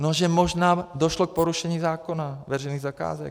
No že možná došlo k porušení zákona veřejných zakázek.